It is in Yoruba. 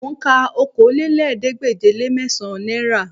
Mò ń ka okòólélẹ́ẹ̀ẹ́dégbèje-le-mẹ́sàn-án náírà